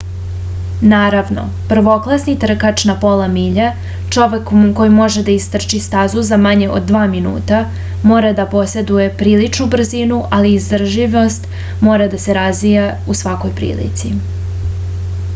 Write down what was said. naravno prvoklasni trkač na pola milje čovek koji može da istrči stazu za manje od dva minuta mora da poseduje priličnu brzinu ali izdržljivost mora da se razvija u svakoj prilici